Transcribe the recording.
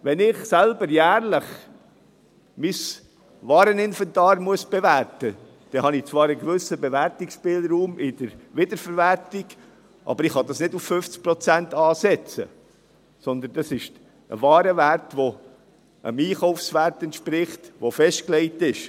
Wenn ich selber jährlich mein Wareninventar bewerten muss, dann habe ich zwar einen gewissen Bewertungsspielraum in der Wiederverwertung, aber ich kann es nicht auf 50 Prozent ansetzen, sondern das ist ein Warenwert, der dem Einkaufswert entspricht, der festgelegt ist.